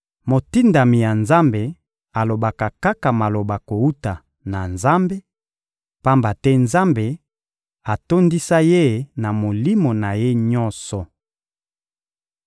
Motindami ya Nzambe alobaka kaka maloba kowuta na Nzambe, pamba te Nzambe atondisa ye na Molimo na Ye nyonso.